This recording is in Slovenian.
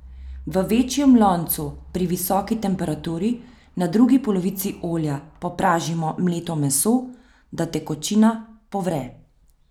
V večjem loncu pri visoki temperaturi na drugi polovici olja popražimo mleto meso, da tekočina povre.